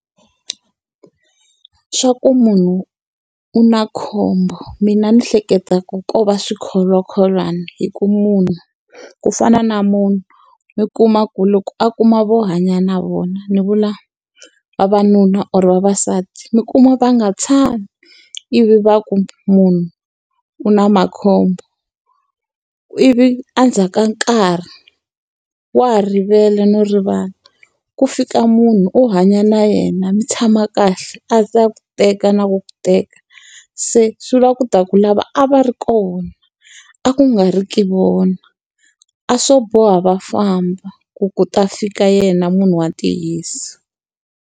Swa ku munhu u na khombo mina ni hleketa ku ko va swikholwakholwana hi ku munhu. Ku fana na munhu, mi kuma ku loko a kuma vo hanya na vona ni vula vavanuna or vavasati, mi kuma va nga tshami ivi va ku munhu u na makhombo. Ivi endzhaku ka nkarhi wa ha rivele no rivala, ku fika munhu u hanya na yena, mi tshama kahle, a za a ku teka na ku ku teka. Se swi vula ku ta ku lava a va ri kona, a ku nga ri ki vona. A swo boha va famba ku ku ta fika yena munhu wa ntiyiso.